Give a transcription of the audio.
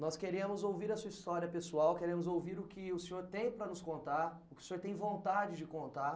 Nós queremos ouvir a sua história pessoal, queremos ouvir o que o senhor tem para nos contar, o que o senhor tem vontade de contar.